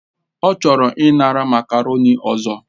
Ọ chọrọ ịnara makarọ̀ni ọzọ